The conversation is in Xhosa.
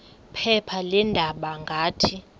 phepha leendaba ngathi